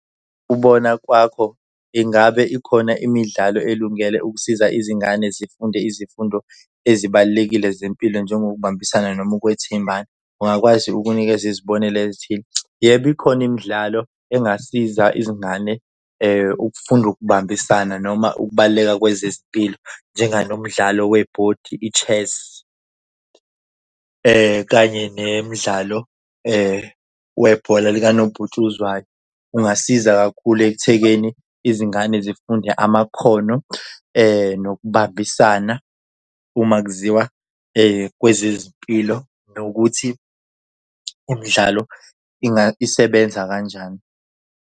Ngokubona kwakho ingabe ikhona imidlalo elungele ukusiza izingane zifunde izifundo ezibalulekile zempilo njengokubambisana noma ukwethembana? Ungakwazi ukunikeza izibonelo ezithile? Yebo ikhona imidlalo engasiza izingane ukufunda ukubambisana noma ukubaluleka kwezezempilo. Njenganomdlalo webhodi i-chess kanye nemidlalo webhola likanobhutshuzwayo kungasiza kakhulu ekuthekeni izingane zifunde amakhono nokubambisana uma kuziwa kwezezempilo nokuthi umdlalo isebenza kanjani.